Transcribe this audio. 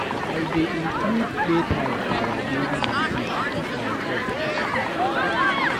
I dey include playtime for our daily routine to keep my pet active and happy.